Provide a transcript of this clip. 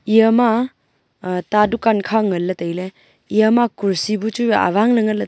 Eya ma aa ta a dukan kha ngan le taile eya ma kursi bu chu wai awang ley nganley.